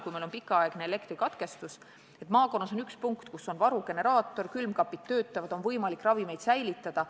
Kui meil on pikaaegne elektrikatkestus, siis on maakonnas vähemalt üks koht, kus on varugeneraator, külmkapid töötavad, on võimalik ravimeid säilitada.